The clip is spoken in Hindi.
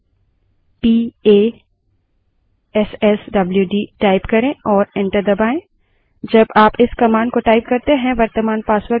इसके लिए हमारे passwd passwd command है prompt पर passwd type करें और एंटर दबायें